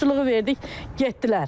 Muştuluğu verdik, getdilər.